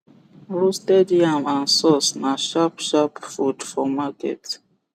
roasted yam and source na sharp sharp food for market